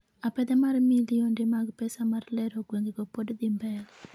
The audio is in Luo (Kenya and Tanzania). apedha mar milionde mag pesa mar lero gwengego pod dhi mbele